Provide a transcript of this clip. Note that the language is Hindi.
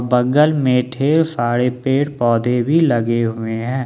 बगल में ढेर सारे पेड़ पौधे भी लगे हुए है।